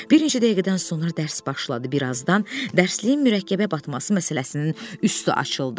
Bir neçə dəqiqədən sonra dərs başladı, bir azdan dərsliyin mürəkkəbə batması məsələsinin üstü açıldı.